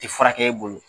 Tɛ furakɛ e bolo